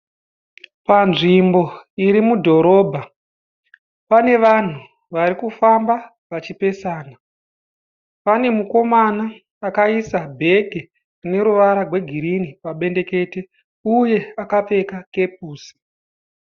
panzvimbo iri mudhorobha pane vanhu vari kufamba vachipesana, pane mukomana akaisa bheke rine ruvara gwegirini pabendekete uye akapfeka kepusi.